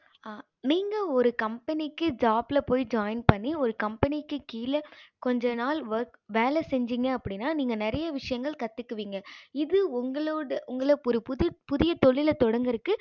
நீங்க ஒரு company க்கு join பண்ணி ஒரு company கீழ கொஞ்ச நாள் work வேல செஞ்சிங்க அப்படின்னா அப்படின்னா நீங்க நெறைய விஷயங்கள் கத்துகுவிங்க இது உங்களோட உங்களுக்கு புது புதிய தொழில தொடங்கறதுக்கு